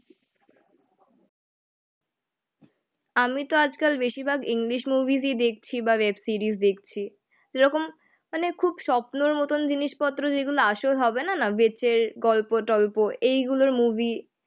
আমি তো আজকাল বেশিরভাগ ইংলিশ মুভিস ই দেখছি বা ওয়েব সিরিজ দেখছি. যেরকম মানে খুব স্বপ্নর মতন জিনিসপত্র যেগুলো আসল হবে না বেচে গল্প টল্প এইগুলোর মুভি